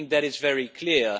that is very clear.